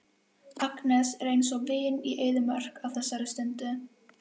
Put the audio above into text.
Þeir hafa meðferðis skektu, að mér skilst, og sitthvað fleira.